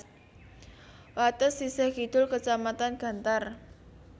Wates sisih kidul kecamatan Gantar